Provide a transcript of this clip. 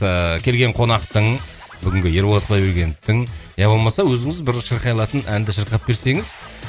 ыыы келген қонақтың бүгінгі ерболат құдайбергеновтың иә болмаса өзіңіз бір шырқай алатын әнді шырқап берсеңіз